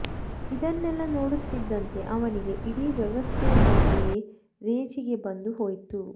ಇದನ್ನೆಲ್ಲ ನೋಡುತ್ತಿದ್ದಂತೆ ಅವನಿಗೆ ಇಡೀ ವ್ಯವಸ್ಥೆಯ ಬಗ್ಗೆಯೇ ರೇಜಿಗೆ ಬಂದು ಹೋಯ್ತು